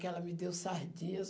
Que ela me deu sardinhas.